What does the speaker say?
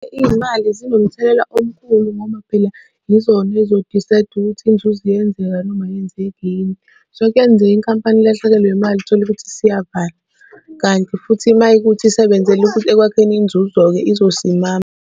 Iy'mali zinomthelela omkhulu ngoba phela yizona ey'zo-decide ukuthi inzuzo iyenzeka noma ayenzeki yini. So, kuyenzeka inkampani ilahlekelwe yimali uthole ukuthi isiyavalwa, kanti futhi uma kuyikuthi isebenzela ukuthi ekwakheni inzuzo-ke izosimama.